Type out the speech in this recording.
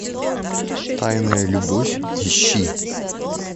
тайная любовь ищи